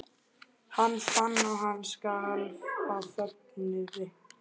Hann fann að hann skalf af fögnuði.